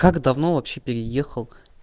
как давно вообще переехал